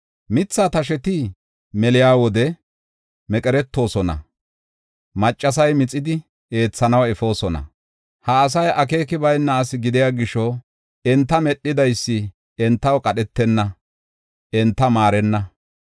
Mitha tasheti meliya wode meqeretoosona; maccasay mixidi eethanaw efoosona. Ha asay akeeki bayna asi gidiya gisho, enta medhidaysi entaw qadhetenna; enta maarenna.